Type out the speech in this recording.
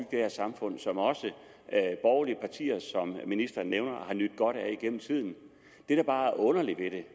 det her samfund som også de borgerlige partier som ministeren nævner har nydt godt af gennem tiden det der bare er underligt ved det